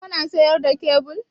Kana siyar da kyabil?